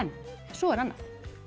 svo er annað